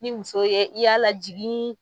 Ni muso ye i y'a lajigin